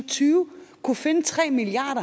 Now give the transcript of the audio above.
tyve kunne finde tre milliard